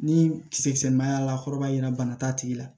Ni kisɛ ma y'a la a kɔrɔ b'a yira bana t'a tigi la